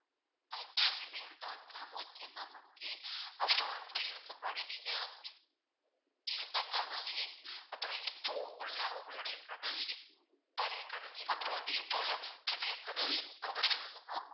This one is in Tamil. at gmail dot com okay ma'am okay வன்ட்டு இதுக்கு முன்னாடி நீங்க இருந்த கதவு எண் அப்பறம் இப்போ உள்ள உங்ளுடைய கதவு எண் பழைய கதவு எண் அப்றம் வந்து இப்போ உள்ள புதிய கதவு எண் number சொல்லுங்க ma'am.